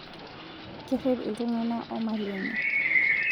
Kerrip iltung'ana o mali enye